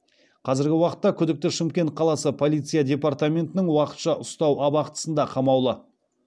қазіргі уақытта күдікті шымкент қаласы полиция департаментінің уақытша ұстау абақтысында қамаулы